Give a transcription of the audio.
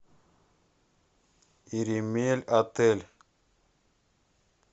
иремельотель